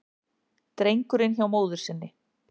Drengurinn hjá móður sinni